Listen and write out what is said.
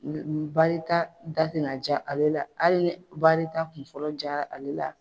Barita da tɛna ja ale la hali ni barita kunfɔlɔ diyara ale la.